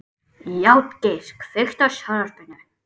Játgeir, kveiktu á sjónvarpinu.